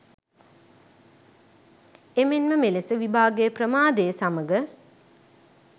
එමෙන්ම මෙලෙස විභාගය ප්‍රමාදය සමග